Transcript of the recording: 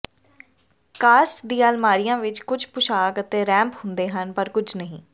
caste ਦੀਆਂ ਅਲਮਾਰੀਆਂ ਵਿਚ ਕੁਝ ਪੁਸ਼ਾਕ ਅਤੇ ਰੈਂਪ ਹੁੰਦੇ ਹਨ ਪਰ ਕੁਝ ਨਹੀਂ